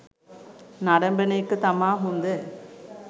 නරඹන එක තමා හොඳ